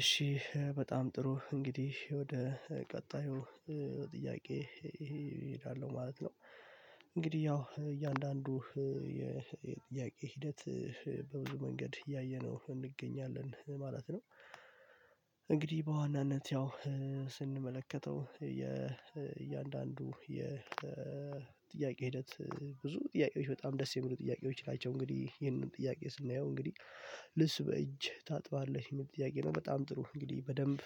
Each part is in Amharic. እሺ በጣም ጥሩ እንግዲህ ወደ ቀጣዩ ጥያቄ እሄዳለሁ ማለት ነው። እንግዲህ ያው እያንዳንዱ የጥያቄ ሂደት በብዙ መንገድ ያየነው እንገኛለን ማለት ነው። እንግዲህ በዋናነት ያው ስንመለከተው የእያንዳንዱ የጥያቄ ሂደት ብዙ ጥያቄዎች በጣም ደስ የሚሉ ጥያቄዎች ናቸው እንግዲህ ይህንን ጥያቄ ስናየው እንግዲህ ልብስ በእጅ ታጥባለህ የሚል ጥያቄ ነው በጣም ጥሩ እንግዲህ በደንብ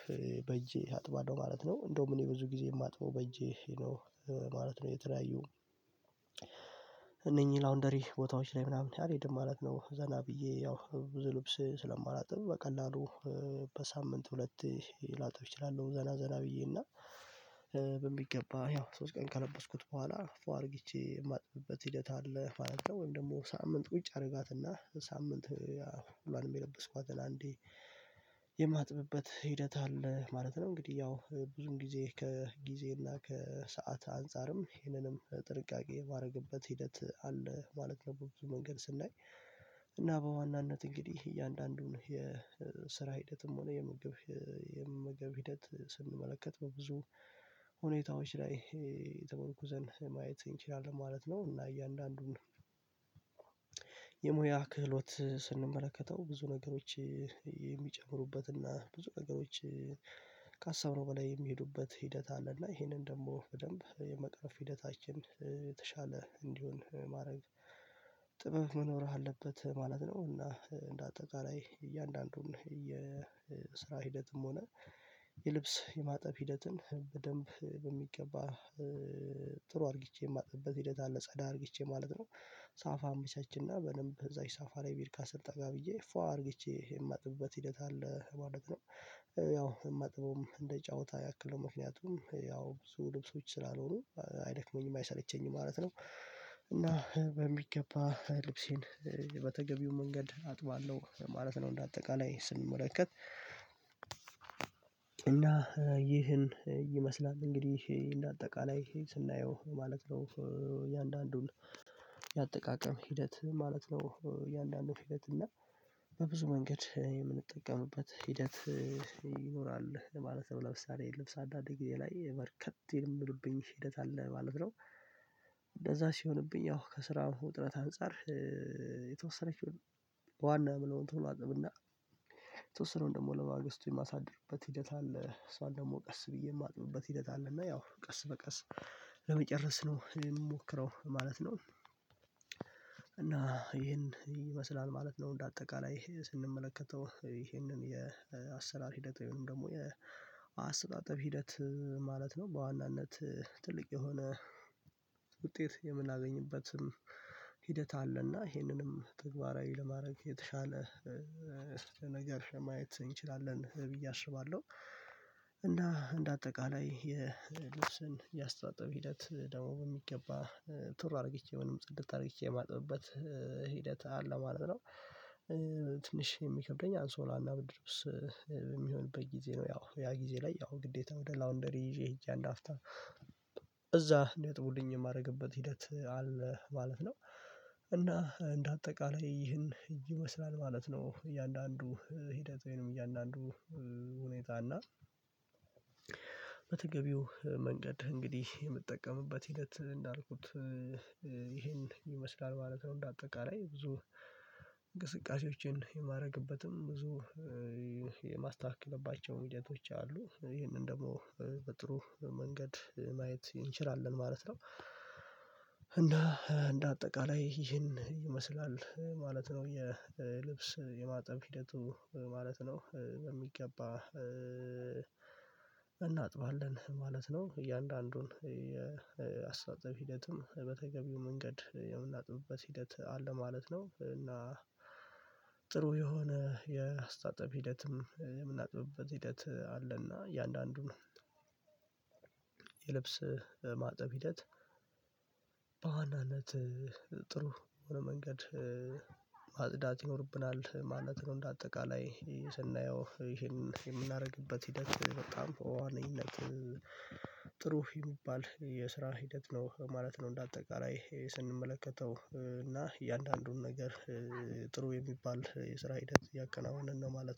በእጄ አጥባለሁ ማለት ነው እንደውም እኔ ብዙ ጊዜ የማጥበው በእጄ ነው ማለት ነው። የተለያዩ እነኚህ ላውንደሪ ቦታዎች ላይ ምናምን አልሄድም ማለት ነው ዘና ብዬ ያው ብዙ ልብስ ስለማላጥብ በቀላሉ በሳምንት ሁለቴ ላጥብ እችላለሁ ዘና ዘና ብዬ እና በሚገባ ያው ሶስት ቀን ካለበስኩት በኋላ ፏ አድርግቼ የማጥብበት ሂደት አለ ማለት ወይም ደግሞ ሳምንት ቁጭ አድርጋትና ሳምንት ያው ሁሏንም የለበስኳትን አንዴ ሂደት አለ ማለት ነው። እንግዲህ ያው ብዙም ጊዜ ከጊዜ እና ከሰአት አንፃርም ይህንንም ጥንቃቄ የማደርግበት ሂደት አለ ማለት በብዙ መንገድ ስናይ እና በዋናነት እንግዲህ እያንዳንዱን የስራ ሂደትም ሆነ የምግብ የመመግብ ሂደት ስንመለከት በብዙ ሁኔታዎች ላይ ተመርኩዘን ማየት እንችላለን ማለት ነው። እና እያንዳንዱን የሙያ ክህሎት ስንመለከተው ብዙ ነገሮች የሚጨምሩበት እና ብዙ ነገሮች ካሰብነው በላይ የሚሄዱበት ሂደት አለና ይሄንን ደግሞ በደንብ የመቅረፍ ሂደታችን የተሻለ እንዲሆን ማድረግ ጥበብ መኖር አለበት ማለት ነው። እና እንደ አጠቃላይ እያንዳንዱን የስራ ሂደትም ሆነ የልብስ የማጠብ ሂደትን በደንብ በሚገባ ጥሩ አርግቼ የማጥብበት ሂደት አለ ጸዳ አድርጊቼ ማለት ነው። ሳፋ አመቻችና በደንብ እዛ ሳፋ ላይ ቢርካ ስር ጠጋ ብዬ ፏ አርግቼ የማጥብበት ሂደት አለ ማለት ነው። ያው እማጥበውም እንደ ጨዋታ ያክለው ምክንያቱም ያው ብዙ ልብሶች ስላልሆኑ አይደክመኝም አይሰለቸኝም ማለት ነው። እና በሚገባ ልብሴን በተገቢው መንገድ አጥባለሁ ማለት ነው። እንደ አጠቃላይ ስንመለከት እና ይህን ይመስላል እንግዲህ እንደ አጠቃላይ ስናየው ማለት ነው እያንዳንዱን ያጠቃቀም ሂደት ማለት ነው እያንዳንዱ ሂደት እና በብዙ መንገድ የምንጠቀምበት ሂደት ይኖራል ማለት ነው። ለምሳሌ ልብስ አንዳንዴ ጊዜ ላይ በርከት የሚሉብኝ ሂደት አለ ማለት ነው። እንደዛ ሲሆንብኝ ያው ከስራ ውጥረት አንፃር የተወሰነችውን ዋና የመለዉን ቶሎ አጥብና ነተወስነዉን ደግሞ ለማገስቱ የማሳድርበት ሂደት አለ እሷን ደግሞ ቀስ ብዬ የማጥምበት ሂደት አለና ያው ቀስ በቀስ ለመጨረስ ነው እኔ የምሞክረው ማለት ነው። እና ይህን ይመስላል ማለት ነው እንደ አጠቃላይ ስንመለከተው ይህንን የአሰራር ሂደት ወይም ደግሞ የአስተጣጠብ ሂደት ማለት ነው። በዋናነት ትልቅ የሆነ ውጤት የምናገኝበትም ሂደት አለ እና ይሄንንም ተግባራዊ ለማድረግ የተሻለ ስትል ነገር ማየት እንችላለን ብዬ አስባለሁ እና እንደ አጠቃላይ የልብስን ያስተጣጠበ ሂደት ደግሞ በሚገባ ቱር አርግቼ ምንም ጽድት አድርግቼ የማጥበበት ሂደት አለ ማለት ነው። ትንሽ የሚከብደኝ አንሶላና ብርድ ልብስ የሚሆንበት ጊዜ ነው ያው ያ ጊዜ ላይ ያው ግዴታ ወደ ላውንደሪ ይዤ ሄጄ አንድ አፍታ እዛ እንዲያጥቡልኝ የማደርግበት ሂደት አለ ማለት ነው። እና እንደ አጠቃላይ ይህን ይመስላል ማለት ነው እያንዳንዱ ሂደት ወይንም እያንዳንዱ ሁኔታ እና መንገድ እንግዲህ የምጠቀምበት ሂደት እንዳልኩት ይሄን ይመስላል ማለት ነው። እንደ አጠቃላይ ብዙ እንቅስቃሴዎችን የማረግበትም ብዙ የማስተካክልባቸው ሂደቶች አሉ ይህንን ደግሞ በጥሩ መንገድ ማየት እንችላለን ማለት ነው። እና እንደ አጠቃላይ ይህን ይመስላል ማለት ነው የልብስ የማጠብ ሂደቱ ማለት ነው። በሚገባ እናጥባለን ማለት ነው እያንዳንዱን የአስተጣጠብ ሂደትም በተገቢው መንገድ የምናጥብበት ሂደት አለ ማለት ነው። እና ጥሩ የሆነ የአስተጣጠብ ሂደትም የምናጠብበት ሂደት አለና እያንዳንዱን ነው የልብስ ማጠብ ሂደት በዋናነት ጥሩ የሆነ መንገድ ማጽዳት ይኖርብናል ማለት ነው እንደ አጠቃላይ ስናየው ይሄን የምናደርግበት ሂደት በጣም በዋነኝነት ጥሩ የሚባል የስራ ሂደት ነው ማለት ነው። እንደ አጠቃላይ ስንመለከተው እና እያንዳንዱን ነገር ጥሩ የሚባል የስራ ሂደት እያከናወንን ነው ማለት